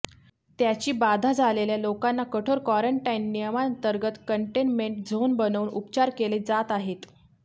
त्याची बाधा झालेल्या लोकांना कठोर क्वारंटाइन नियमांअंतर्गत कंटेनमेंट झोन बनवून उपचार केले जात आहेत